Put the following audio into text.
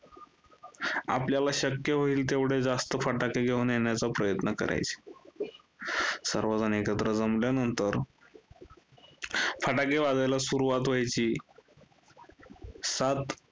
आपल्याला शक्य होईल, तेवढे जास्त फटाके घेऊन येण्याचा प्रयत्न करायचे. सर्वजण एकत्र जमल्यानंतर फटाके वाजवायला सुरुवात व्हायची. सात